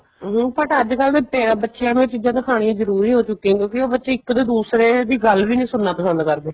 ਹਮ but ਅੱਜਕਲ ਦੇ ਬੱਚਿਆਂ ਨੂੰ ਇਹ ਚੀਜ਼ਾਂ ਦਿਖਾਨੀਆਂ ਜਰੂਰੀ ਹੋ ਚੁੱਕੀਆਂ ਕਿਉਂਕਿ ਉਹ ਬੱਚੇ ਇੱਕ ਤੋਂ ਦੂਸਰੇ ਦੀ ਗੱਲ ਵੀ ਨੀ ਸੁਣਨਾ ਪਸੰਦ ਕਰਦੇ